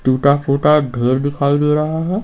टूटा-फूटा घर दिखाई दे रहा है।